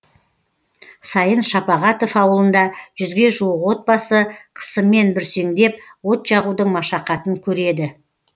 сайын шапағатов ауылында жүзге жуық отбасы қысымен бүрсеңдеп от жағудың машақатын көреді